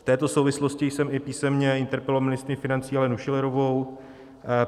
V této souvislosti jsem i písemně interpeloval ministryni financí Alenu Schillerovou.